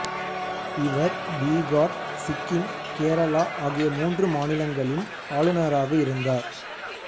இவர் பீகார் சிக்கிம் கேரளா ஆகிய மூன்று மாநிலங்களின் ஆளுநராக இருந்தார்